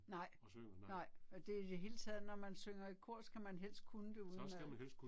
Nej, nej. Og det i det hele taget når man synger i kor skal man helst kunne det udenad